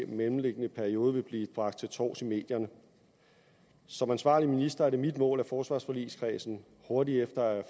mellemliggende periode vil blive bragt til torvs i medierne som ansvarlig minister er det mit mål at forsvarsforligskredsen hurtigt efter